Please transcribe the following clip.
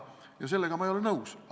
Ja sellega ma ei ole nõus.